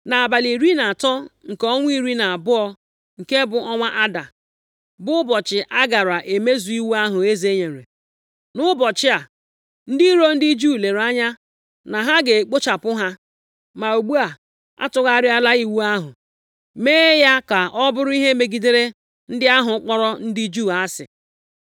Nʼabalị iri na atọ nke ọnwa iri na abụọ, nke bụ ọnwa Ada, bụ ụbọchị a gaara emezu iwu ahụ eze nyere. Nʼụbọchị a, ndị iro ndị Juu lere anya na ha ga-ekpochapụ ha. Ma ugbu a, a tụgharịala iwu ahụ, mee ya ka ọ bụrụ ihe megidere ndị ahụ kpọrọ ndị Juu asị.